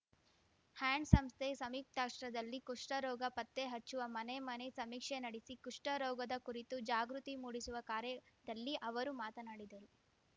hands ಸಂಸ್ಥೆ ಸಂಯುಕ್ತಾಶ್ರಯದಲ್ಲಿ ಕುಷ್ಠರೋಗ ಪತ್ತೆ ಹಚ್ಚುವ ಮನೆ ಮನೆ ಸಮೀಕ್ಷೆ ನಡೆಸಿ ಕುಷ್ಠರೋಗದ ಕುರಿತು ಜಾಗೃತಿ ಮೂಡಿಸುವ ಕಾರ್ಯದಲ್ಲಿ ಅವರು ಮಾತನಾಡಿದರು